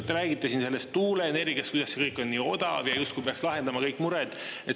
Te räägite siin sellest tuuleenergiast,, kuidas see kõik on nii odav ja justkui peaks lahendama kõik mured.